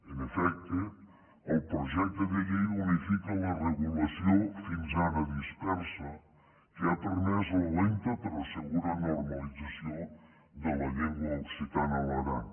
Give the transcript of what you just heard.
en efecte el projecte de llei unifica la regulació fins ara dispersa que ha permès la lenta però segura normalització de la llengua occitana a l’aran